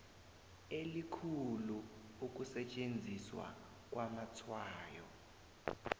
elikhulu ukusetjenziswa kwamatshwayo